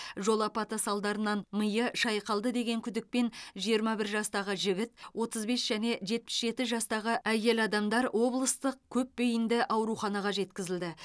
жол апаты салдарынан миы шайқалды деген күдікпен жиырма бір жастағы жігіт отыз бес және жетпіс жеті жастағы әйел адамдар облыстық көпбейінді ауруханаға жеткізілді